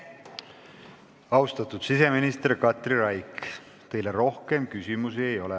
Austatud siseminister Katri Raik, teile rohkem küsimusi ei ole.